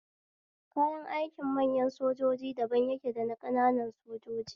Kayan aikin manyan sojoji daban yake daba ƙananan sojoji